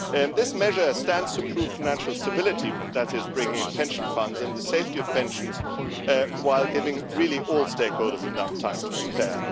This measure stands to improve financial stability that is bringing in pension funds and the safety of pensions while giving all stakeholders enough time to prepare.